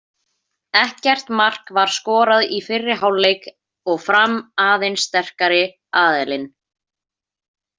Ekkert mark var skorað í fyrri hálfleik og Fram aðeins sterkari aðilinn.